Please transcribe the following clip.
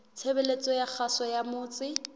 tshebeletso ya kgaso ya motse